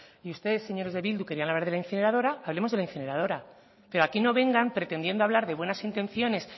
y ustedes señores de bildu querían hablar de la incineradora hablemos de la incineradora pero aquí no vengan pretendiendo hablar de buenas intenciones